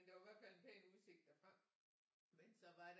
Men der var i hvert fald en pæn udsigt derfra men så var der